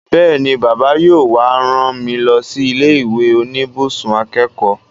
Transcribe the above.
Bẹ́ẹ̀ni, Bàbá yóò wá rán mi lọ sí ilé ìwé oníbùsùn akẹ́kọ̀ọ́